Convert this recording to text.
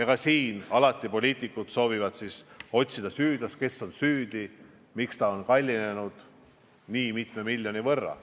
Ja poliitikud soovivad otsida süüdlast, kes on süüdi, miks see on kallinenud nii mitme miljoni võrra.